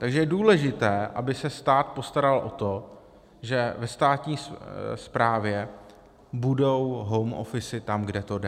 Takže je důležité, aby se stát postaral o to, že ve státní správě budou home officy tam, kde to jde.